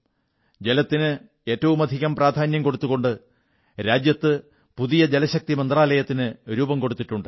ജലത്തിന് ഏറ്റവുമധികം പ്രാധാന്യം കൊടുത്തുകൊണ്ട് രാജ്യത്ത് പുതിയ ജലശക്തി മന്ത്രാലയത്തിന് രൂപം കൊടുത്തിട്ടുണ്ട്